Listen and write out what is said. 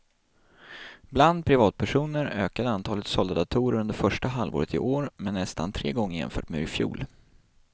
Bland privatpersoner ökade antalet sålda datorer under första halvåret i år med nästan tre gånger jämfört med i fjol.